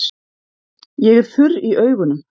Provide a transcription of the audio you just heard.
Ég er þurr í augunum.